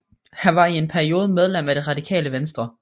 Han var i en periode medlem af Det Radikale Venstre